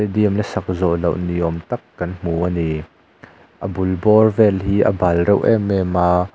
stadium la sak zawhloh ni awm tak kan hmu ani a bul bawr vel hi a bal reuh em em a--